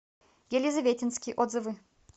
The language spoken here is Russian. елизаветинский отзывы